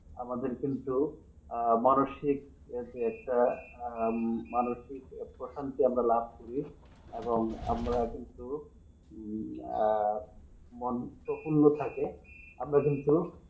আমাদের কিন্তু আহ মানুষিক ওই যে একটা আহ মানসিক প্রথম দিকে আমরা লাভ করি এবং আমরা কিন্তু আহ মন আমরা কিন্তু।